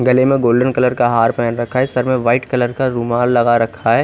गले में golden colour का हार पहन रखा है सर में वाईट कलर का रुमाल लगा रखा है।